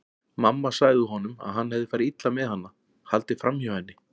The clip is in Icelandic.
Mamma sagði honum að hann hefði farið illa með hana, haldið fram hjá henni.